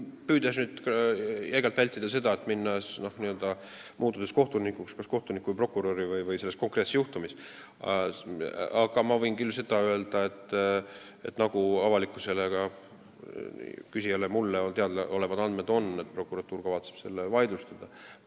Püüdes jäigalt vältida seda, et ma muutun selle juhtumi kohtunikuks või prokuröriks, võin ma öelda, et nii nagu avalikkusele, küsijale ja ka mulle teada on, kavatseb prokuratuur selle vaidlustada.